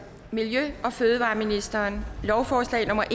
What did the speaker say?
miljø og fødevareministeren lovforslag nummer